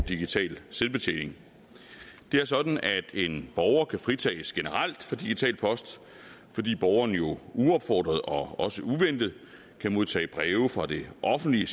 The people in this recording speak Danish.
digital selvbetjening det er sådan at en borger kan fritages generelt for digital post fordi borgeren jo uopfordret og også uventet kan modtage breve fra det offentlige i